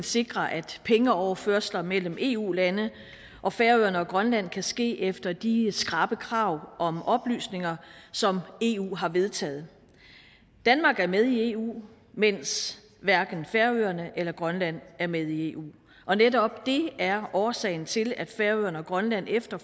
sikre at pengeoverførsler mellem eu landene og færøerne og grønland kan ske efter de skrappe krav om oplysninger som eu har vedtaget danmark er med i eu mens hverken færøerne eller grønland er med i eu og netop det er årsagen til at færøerne og grønland efter